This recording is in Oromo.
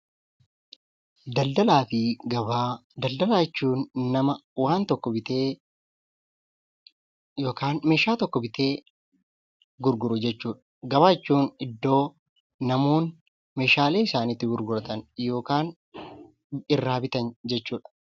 Daldalaa fi gabaa Daldalaa jechuun nama waan tokko bitee yookaan meeshaa tokko bitee gurguru jechuu dha. Gabaa jechuun iddoo namoonni meeshaalee isaanii itti gurguratan yookaan irraa bitan jechuu dha.